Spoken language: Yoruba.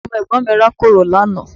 Ọmọ Ẹ̀gbọ́n mi rákòrò lánàá